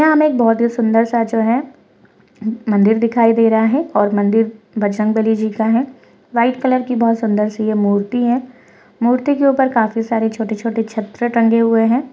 यह हमे बहुत ही सुन्दर स जो है मन्दिर दिखायी दे रह है और मन्दिर बजरंग बलि जी का है वाइट कलर की बहुत ही सुन्दर सी ये मूर्ति है मूर्ति के ऊपर काफी सारे छोटे-छोटे छत्र टंगे हुए है।